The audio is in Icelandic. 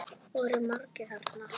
Voru margir þarna?